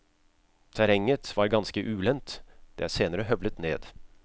Terrenget var ganske ulendt, det er senere høvlet ned.